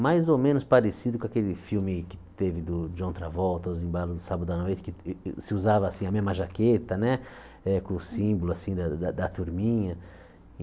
mais ou menos parecido com aquele filme que teve do John Travolta, O esbalos de Sábado a Noite, que se usava a mesma jaqueta né, com o símbolo assim da da da turminha.